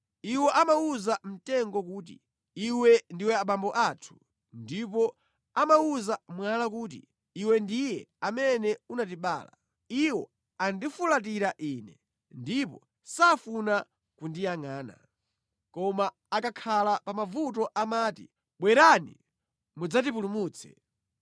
Iwo amawuza mtengo kuti, ‘Iwe ndiwe abambo athu,’ ndipo amawuza mwala kuti, ‘Iwe ndiye amene unatibala.’ Iwo andifulatira Ine, ndipo safuna kundiyangʼana; Koma akakhala pa mavuto amati, ‘Bwerani mudzatipulumutse!’